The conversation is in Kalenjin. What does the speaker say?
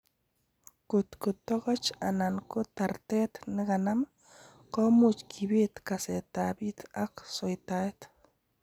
Kotko tokoch anan ko tartet nekanam, komuch kibet kasetab it ak soitaet.